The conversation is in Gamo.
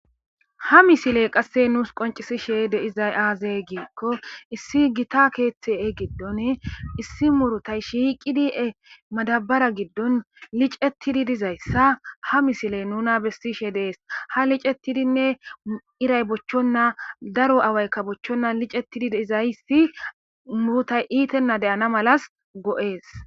Ha Misile Qase Qoncisishe De'zay Azee Giikko Issi Gita keeththe Gidon Issi Murutay Shiqidi Madabara Gidon Licatidi Dizaysa Ha Misile Nuna Besishe Des Ha Licetidinne Irray Bochenan Daro Awaykka Bochenan Licetidi De'izaysi Murutay Itena De'ana Malas Go'es.